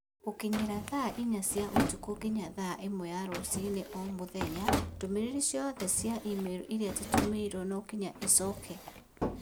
Gũkinyĩria thaa inya cia ũtukũ nginya thaa ĩmwe ya rũcinĩ o mũthenya, ndũmĩrĩri ciothe cia i-mīrū iria tũtũmĩirũo nokinya icokio